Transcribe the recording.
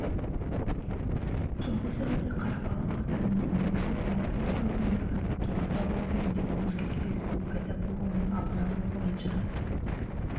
жылғы сәуірде қарабалық ауданының өрнек селолық округіндегі тоғұзақ өзенінде мұз кептелісінің пайда болуының алдын алу бойынша